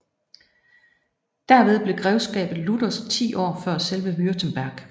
Derved blev grevskabet luthersk 10 år før selve Württemberg